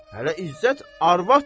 Hələ İzzət arvadı?